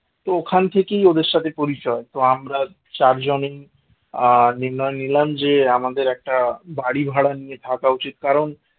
তো ওখান থেকেই ওদের সাথে পরিচয় তো আমরা চারজনই আ নির্ণয় নিলাম যে আমাদের একটা বাড়ি ভাড়া নিয়ে থাকা উচিত কারণ